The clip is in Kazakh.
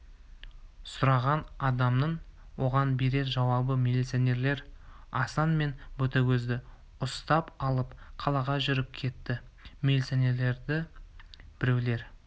сұраған адамның оған берер жауабы милиционерлер асан мен ботагөзді ұстап алып қалаға жүріп кетті милиционерлерді біреулер